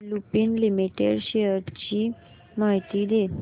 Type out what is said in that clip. Lupin limited shares ची माहिती दे